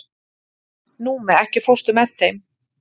Númi, ekki fórstu með þeim?